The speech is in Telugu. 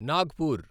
నాగ్పూర్